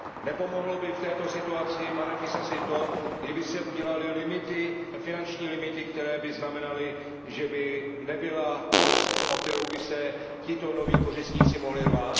Nepomohlo by v této situaci, pane Fisasi, to, kdyby se udělaly limity, finanční limity, které by znamenaly, že by nebyla kost, o kterou by se tito noví kořistníci mohli rvát?